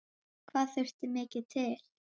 Hvað þurfti mikið til?